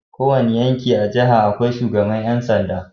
Kowanne yanki a jaha akwai shugaban yansanda